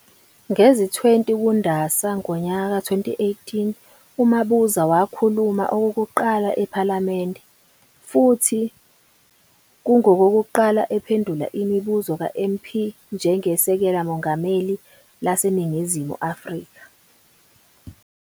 Ngezi 20 kuNdasa ngonyaka ka 2018, uMabuza wakhuluma okokuqala ephalamende, futhi kungokokuqala ephendula imibuzo ka MP njenge Sekela Mongameli lase Ningizimu Afrika.